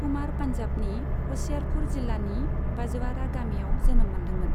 कुमारआ पान्जाबनि ह'शियारपुर जिल्लानि बाजवारा गामियाव जोनोम मोनदोंमोन।